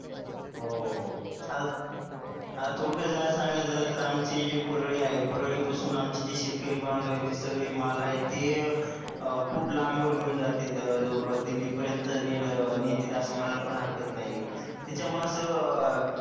आता थोडक्यात सांगायचं झाल तर आमची जी पुरळी आहे पुरळी पासून आमचे जे शेतकरी बांधव आहेत ते सगळे माल आहेत ते अं खुय्प लांबवर घेवून जातात जवळपास दिल्ली पर्यंत नेल नेतेत अस म्हणायला पण हरकत नाही त्याच्यामुळे अस